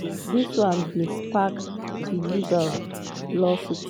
dis one bin spark a libel lawsuit.